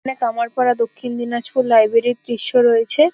এখানে কামারপাড়া দক্ষিণ দিনাজপুর লাইব্রেরি -এর দৃশ রয়েছে-এ।